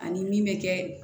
Ani min bɛ kɛ